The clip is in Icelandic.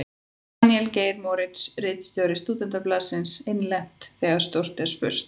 Daníel Geir Moritz, ritstjóri Stúdentablaðsins: Innlent: Þegar stórt er spurt.